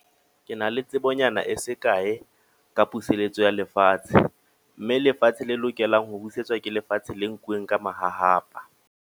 Ke na le tsebonyana e se kae, ka puseletso ya lefatshe. Mme lefatshe le lokelang ho busetsa, ke lefatshe le nkuwe ka mahahapa.